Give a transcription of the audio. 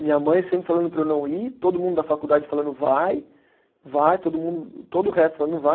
Minha mãe sempre falando para eu não ir, todo mundo da faculdade falando vai, vai, todo mundo, todo o resto falando não vai.